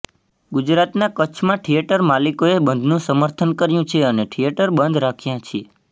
ગુજરાતના કચ્છમાં થિયેટર માલિકોએ બંધનું સમર્થન કર્યું છે અને થિયેટર બંધ રાખ્યા છે